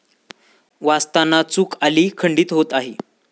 वाचताना चुक आली.... खंडीत होत आहे